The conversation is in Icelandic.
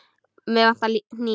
Mig vantar hníf.